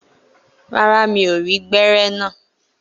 Rárá, mi ò rí gbẹ́rẹ́ naa.